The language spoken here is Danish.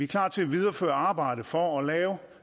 klar til at videreføre arbejdet for at lave